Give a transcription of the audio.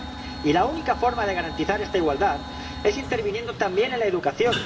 Y la única forma de garantizar esta igualdad es interviniendo también en la educación.